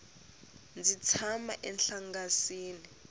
ndzi tshama enhlangasini